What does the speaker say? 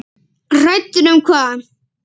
Hræddur um hvað?